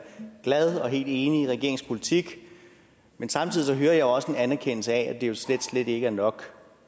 glad og helt enig i regeringens politik men samtidig også en anerkendelse af at det jo slet slet ikke er nok